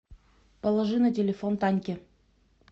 положи на телефон таньке